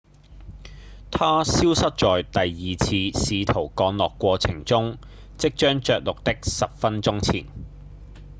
它消失在第二次試圖降落過程中即將著陸的十分鐘前